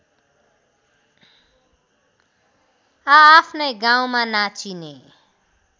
आआफ्नै गाउँमा नाचिने